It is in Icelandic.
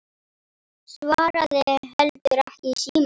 Svaraði heldur ekki í síma.